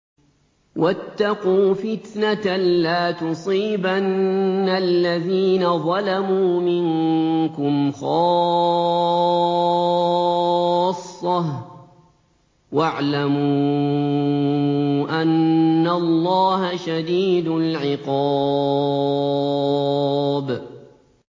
وَاتَّقُوا فِتْنَةً لَّا تُصِيبَنَّ الَّذِينَ ظَلَمُوا مِنكُمْ خَاصَّةً ۖ وَاعْلَمُوا أَنَّ اللَّهَ شَدِيدُ الْعِقَابِ